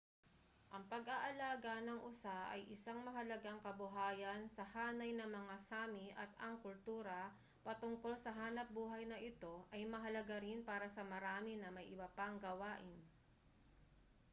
ang pag-aalaga ng usa ay isang mahalagang kabuhayan sa hanay ng mga sámi at ang kultura patungkol sa hanapbuhay na ito ay mahalaga rin para sa marami na may iba pang gawain